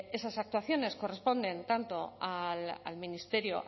esas actuaciones corresponden tanto al ministerio